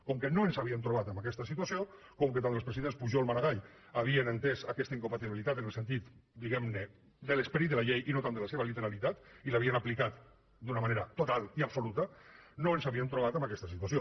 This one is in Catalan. com que no ens havíem trobat amb aquesta situació com que tant el president pujol com maragall havien entès aquesta incompatibilitat en el sentit diguem ne de l’esperit de la llei i no tant de la seva literalitat i l’havien aplicat d’una manera total i absoluta no ens havíem trobat amb aquesta situació